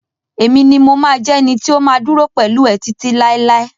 Emi ni mo ma jẹ ẹni tí o ma duro pẹlú ẹ titi lailai.